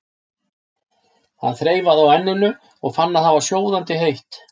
Hann þreifaði á enninu og fann að það var sjóðandi heitt.